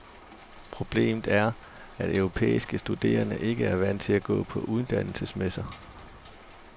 Problemet er, at europæiske studerende ikke er vant til at gå på uddannelsesmesse.